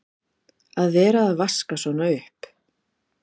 Að vera að vaska svona upp!